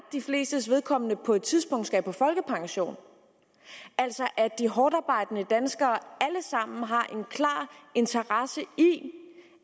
de flestes vedkommende på et tidspunkt skal på folkepension altså at de hårdtarbejdende danskere alle sammen har en klar interesse i